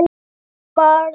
Sem ég varð.